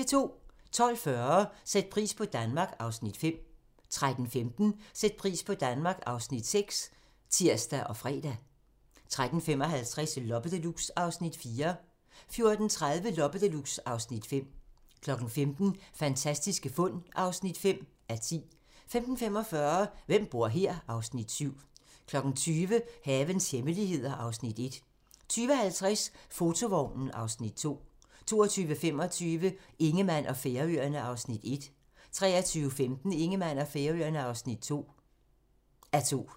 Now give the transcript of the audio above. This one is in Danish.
12:40: Sæt pris på Danmark (Afs. 5) 13:15: Sæt pris på Danmark (Afs. 6)(tir og fre) 13:55: Loppe Deluxe (Afs. 4) 14:30: Loppe Deluxe (Afs. 5) 15:00: Fantastiske fund (5:10) 15:45: Hvem bor her? (Afs. 7) 20:00: Havens hemmeligheder (Afs. 1) 20:50: Fotovognen (Afs. 2) 22:25: Ingemann og Færøerne (1:2) 23:15: Ingemann og Færøerne (2:2)